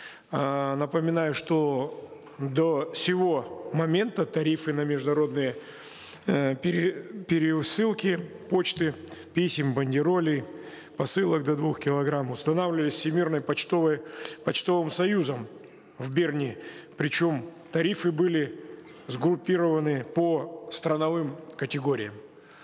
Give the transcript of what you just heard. эээ напоминаю что до сего момента тарифы на международные э пересылки почты писем бандеролей посылок до двух килограмм устанавливались всемирной почтовым союзом в берне причем тарифы были сгруппированы по страновым категориям